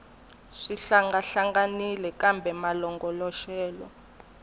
swi hlangahlanganile kambe malongoloxelo ya